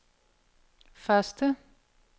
første